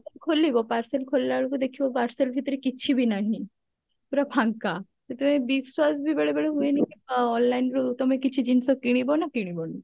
ଖୋଲିବ parsal ଖୋଲିଲା ବେଳକୁ ଦେଖିବ parsal ଭିତରେ କିଛି ବି ନାହିଁ ପୁରା ଫାଙ୍କା ସେଥିପାଇଁ ବିଶ୍ଵାସ ବି ବେଳେବେଳେ ହୁଏନି ଅ online ରୁ ତମେ କିଛି ଜିନିଷ କିଣିବ ନା କିଣିବନି